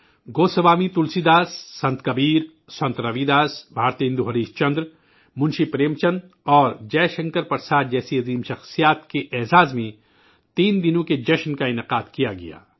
گوسوامی تلسی داس، سنت کبیر، سنت رے داس، بھارتندو ہریش چندر، منشی پریم چند اور جے شنکر پرساد جیسی عظیم ہستیوں کے اعزاز میں تین روزہ مہوتس کا اہتمام کیا گیا